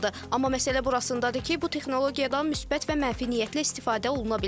Amma məsələ burasındadır ki, bu texnologiyadan müsbət və mənfi niyyətlə istifadə oluna bilər.